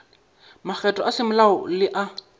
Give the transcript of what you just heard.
magato a semolao le a